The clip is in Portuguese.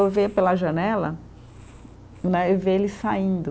Eu ver pela janela né, e ver eles saindo.